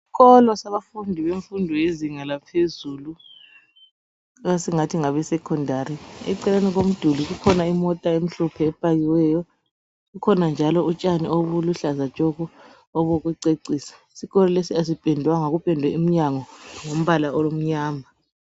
Isikolo sabafundi bemfundo lezinga laphezulu esingathi ngabe Sekhondari, eceleni komduli kukhona imota emhlophe epakiweyo, kukhona njalo utshaniobuluhlaza tshoko obukucecisa. Isikolo lesi asipendwanga, kupendwe iminyango ngombala omnyama.